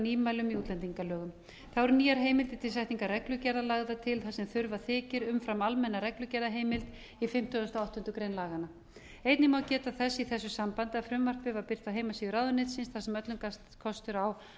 nýmælum í útlendingalögum þá eru nýjar heimildir til setningar reglugerðar lagðar til þar sem þurfa þykir um fram almenna reglugerðarheimild í fimmtugasta og áttundu grein laganna einnig má geta þess í þessu sambandi að frumvarpið var birt á heimasíðu ráðuneytisins þar sem öllum gafst aftur á að